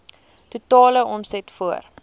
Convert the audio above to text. totale omset voor